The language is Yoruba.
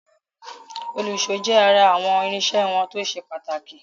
Òlùṣó jẹ́ ará àwọn irinṣẹ́ wọn tó ṣe pàtàkì.